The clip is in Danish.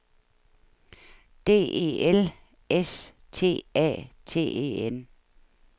D E L S T A T E N